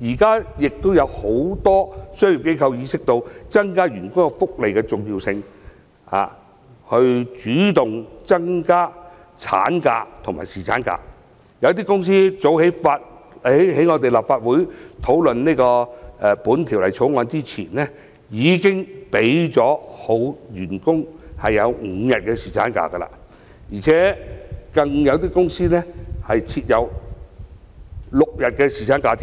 現時也有很多商業機構意識到增加員工福利的重要性，並主動增加產假和侍產假，有些公司早於立法會討論《條例草案》前已經給予員工5天侍產假，而且更有公司設有6天侍產假。